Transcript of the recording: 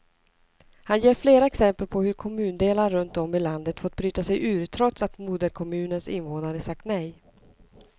Han ger flera exempel på hur kommundelar runt om i landet fått bryta sig ur, trots att moderkommunens invånare sagt nej.